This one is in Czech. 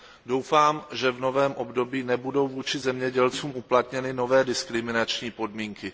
Doufám, že v novém období nebudou vůči zemědělcům uplatněny nové diskriminační podmínky.